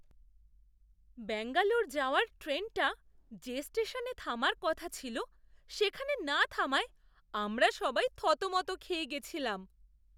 ব্যাঙ্গালোর যাওয়ার ট্রেনটা যে স্টেশনে থামার কথা ছিল সেখানে না থামায় আমরা সবাই থতমত খেয়ে গেছিলাম!